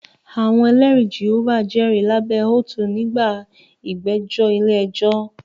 Àwọn Ẹlẹ́rìí Jèhófà jẹ́rìí lábẹ́ oat nígbà ìgbẹ́jọ́ ilé ẹjọ́